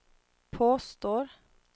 påstår